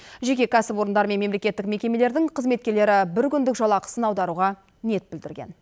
жеке кәсіпорындар мен мемлекеттік мекемелердің қызметкерлері бір күндік жалақысын аударуға ниет білдірген